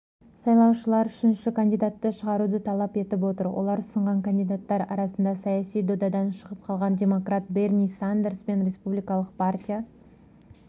сайлаушылардың үшінші кандидатты шығаруды талап етіп отыр олар ұсынған кандидаттар арасында саяси додадан шығып қалған демократ берни сандерс пен республикалық партия